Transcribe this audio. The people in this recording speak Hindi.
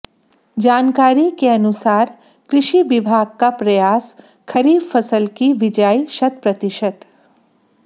जानकारी के अनुसार कृषि विभाग का प्रयास खरीफ फसल की बिजाई शतप्रतिशत